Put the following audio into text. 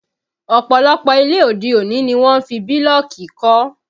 Ọ̀pọ̀lọpọ̀ ilé òde-òní ni wọ́n fi bílọ̀kì kọ́